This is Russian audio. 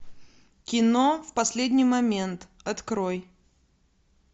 кино в последний момент открой